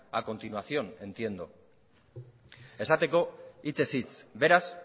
a continuación entiendo esateko hitzez hitz beraz